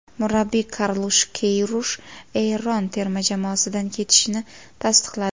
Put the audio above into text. Murabbiy Karlush Keyrush Eron terma jamoasidan ketishini tasdiqladi.